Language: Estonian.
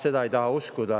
No ma ei taha seda uskuda.